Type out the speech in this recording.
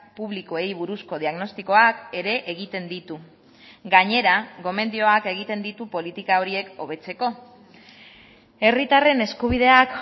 publikoei buruzko diagnostikoak ere egiten ditu gainera gomendioak egiten ditu politika horiek hobetzeko herritarren eskubideak